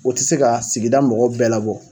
O tɛ se ka sigida mɔgɔ bɛɛ labɔ.